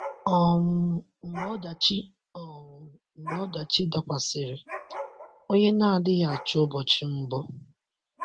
um Mgbe ọdachi um Mgbe ọdachi dakwasịrị, ònye na-adịghị achọ ụbọchị mbụ?